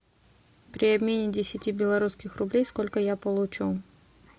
при обмене десяти белорусских рублей сколько я получу